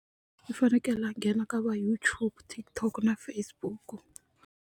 U fanekele a nghena ka va YouTube, TikTok na Facebook.